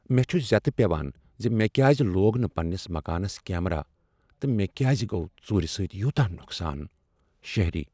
مےٚ چھ زیتہٕ پیوان زِ مےٚ کیٛاز لوگ نہٕ پننس مکانس کیمرا تہٕ مےٚ کیٛاز گوٚو ژُور سۭتۍ یوٗتاہ نقصان، شہرۍ